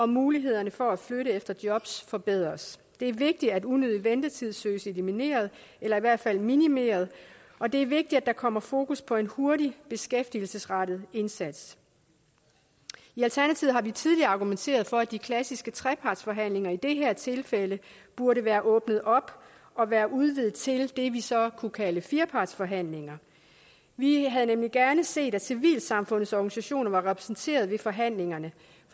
mulighederne for at flytte efter jobs forbedres det er vigtigt at unødig ventetid søges elimineret eller i hvert fald minimeret og det er vigtigt at der kommer fokus på en hurtig beskæftigelsesrettet indsats i alternativet har vi tidligere argumenteret for at de klassiske trepartsforhandlinger i det her tilfælde burde være åbnet op og være udvidet til det vi så kunne kalde firepartsforhandlinger vi havde nemlig gerne set at civilsamfundets organisationer var repræsenteret ved forhandlingerne